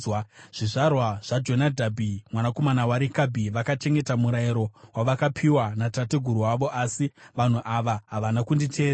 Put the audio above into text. Zvizvarwa zvaJonadhabhi mwanakomana waRekabhi vakachengeta murayiro wavakapiwa natateguru wavo, asi vanhu ava havana kunditeerera.’